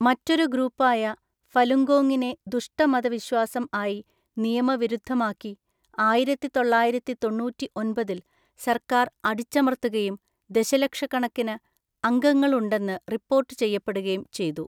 മറ്റൊരു ഗ്രൂപ്പായ ഫലുങ്കോങ്ങിനെ ദുഷ്ട മതവിശ്വാസം ആയി നിയമവിരുദ്ധമാക്കി, ആയിരത്തിതൊള്ളായിരത്തിതൊണ്ണൂറ്റിഒന്‍പതില്‍ സർക്കാർ അടിച്ചമർത്തുകയും ദശലക്ഷക്കണക്കിന് അംഗങ്ങൾ ഉണ്ടെന്ന് റിപ്പോർട്ട് ചെയ്യപ്പെടുകയും ചെയ്തു.